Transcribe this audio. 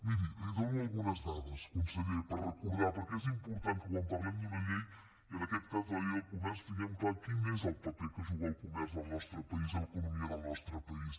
miri li dono algunes dades conseller per recordar perquè és important que quan parlem d’una llei i en aquest cas de la llei del comerç tinguem clar quin és el paper que juga el comerç al nostre país a l’economia del nostre país